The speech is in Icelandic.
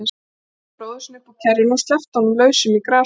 Tók bróður sinn upp úr kerrunni og sleppti honum lausum í grasið.